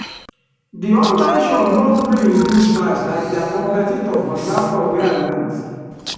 the online shop no gree reduce price like their competitor for the laptop wey i want.